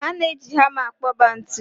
A na-eji hama akpoba ntu.